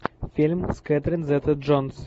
фильм с кэтрин зета джонс